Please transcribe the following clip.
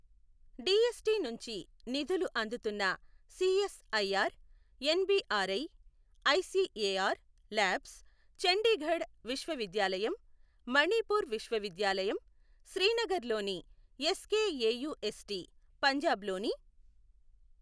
DST నుంచి నిధులు అందుతున్న CSIR NBRI, ICAR labs, Chandigarh విశ్వవిద్యాలయం, మణిపూర్ విశ్వవిద్యాలయం, శ్రీనగర్లోని ఎస్కేఏయూఎస్టీ, పంజాబ్లోని